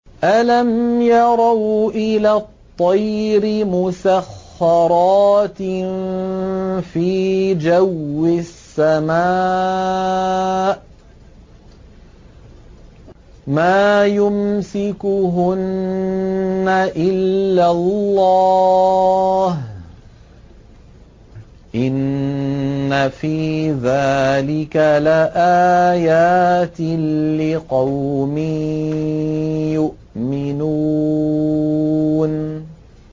أَلَمْ يَرَوْا إِلَى الطَّيْرِ مُسَخَّرَاتٍ فِي جَوِّ السَّمَاءِ مَا يُمْسِكُهُنَّ إِلَّا اللَّهُ ۗ إِنَّ فِي ذَٰلِكَ لَآيَاتٍ لِّقَوْمٍ يُؤْمِنُونَ